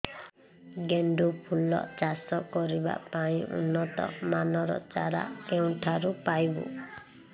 ଗେଣ୍ଡୁ ଫୁଲ ଚାଷ କରିବା ପାଇଁ ଉନ୍ନତ ମାନର ଚାରା କେଉଁଠାରୁ ପାଇବୁ